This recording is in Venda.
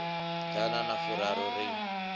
ya ḓana na furaru ri